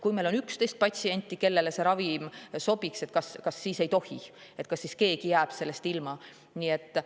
Kui meil on 11 patsienti, kellele see ravim sobiks, siis kas neile ei tohi ja kas keegi jääb siis sellest ilma?